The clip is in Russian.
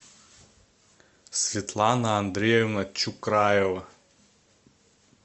светлана андреевна чукраева